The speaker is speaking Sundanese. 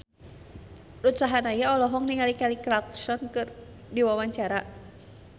Ruth Sahanaya olohok ningali Kelly Clarkson keur diwawancara